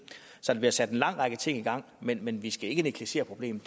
så der bliver sat en lang række ting i gang men men vi skal ikke negligere problemet